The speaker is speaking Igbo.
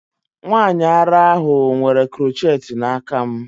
Nwanyị ara ahụ nwere crochet n'aka m.